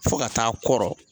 Fo ka taa a kɔrɔ.